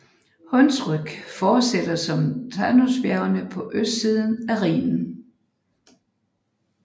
Hunsrück fortsætter som Taunusbjergene på østsiden af Rhinen